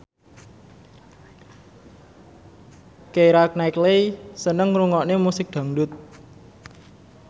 Keira Knightley seneng ngrungokne musik dangdut